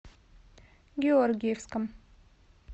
георгиевском